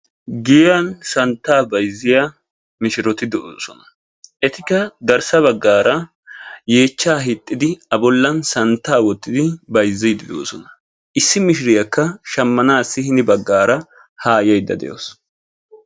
Giyan santta bayzziya mishiroti de'osona. Etikka garssa baggara yeecha hiixidi a bollan santta wootidi bayzzidi de'osona. Issi mishiriyaka shamanasi ya baggara ha yayda deawusu.